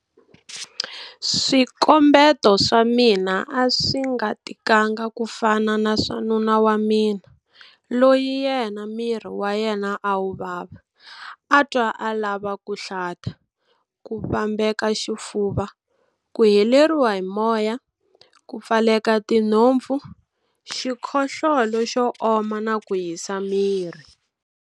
Swikombeto swa mina a swi nga tikanga ku fana ni swa nuna wa mina, loyi yena miri wa yena a wu vava, a twa a lava ku hlata, ku vambeka xifuva, ku heleriwa hi moya, ku pfaleka tinhopfu, xikhohlola xo oma na ku hisa miri.